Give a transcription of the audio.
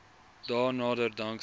dae nader danksy